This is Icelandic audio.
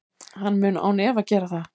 Hann mun án efa gera það.